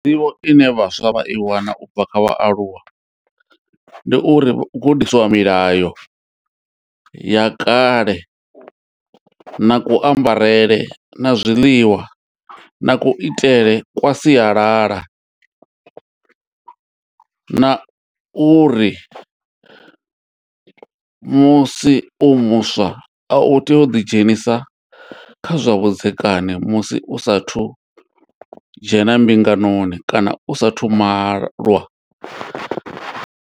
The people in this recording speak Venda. Nḓivho ine vhaswa vha i wana ubva kha vhaaluwa ndi uri u gudiswa milayo ya kale na ku ambarele na zwiḽiwa na ku itele kwa sialala na uri musi u muswa a u tei u ḓi dzhenisa kha zwa vhudzekani musi u sathu dzhena mbinganoni kana u saathu malwa.